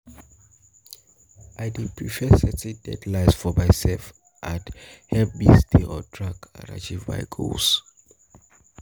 I dey prefer setting deadlines for myself to help me stay on track and achieve my goals.